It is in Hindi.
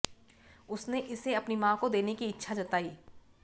उसने इसे अपनी मां को देने की इच्छा जताई